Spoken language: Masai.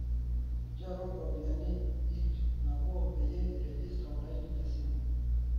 nchoru ropiyani iip nabo peyie iregister olaini le simu